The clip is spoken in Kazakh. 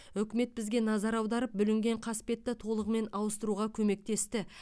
үкімет бізге назар аударып бүлінген қасбетті толығымен ауыстыруға көмектесті